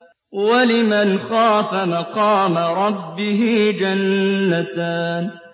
وَلِمَنْ خَافَ مَقَامَ رَبِّهِ جَنَّتَانِ